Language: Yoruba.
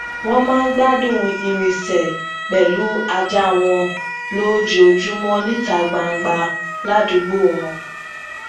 wón máa ń gbádùn irinsẹ pèlú ajá wọn lójoojúmọ níta gbangba ládùúgbò wọn